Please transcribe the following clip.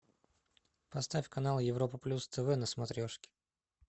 поставь канал европа плюс тв на смотрешке